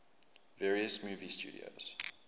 various movie studios